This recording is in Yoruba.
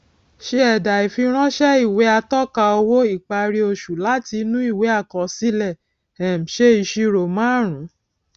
se ẹdà ìfiránsẹ ìwé atọka owó ìparí oṣù láti inú ìwé àkọsílẹ um ṣe ìṣirò márùnún